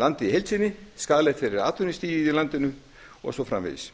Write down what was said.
landið í heild sinni skaðlegt fyrir atvinnustigið í landinu og svo framvegis